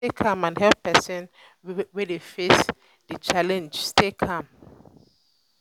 try stay calm and help persin wey de face di challenge stay calm